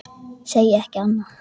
Segi ekki annað.